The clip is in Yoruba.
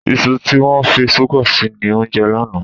Iṣu tí wọ́n fi ṣúgà sí ni o jẹ lánàá.